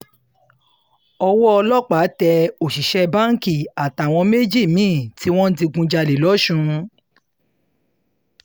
owó ọlọ́pàá tẹ òṣìṣẹ́ báǹkì àtàwọn méjì mí-ín tí wọ́n digunjalè lọ́sùn